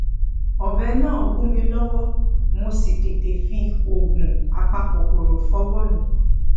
ọbẹ náà gún mi lówó mo sì tètè fi oògùn apakòkòrò fọwó mi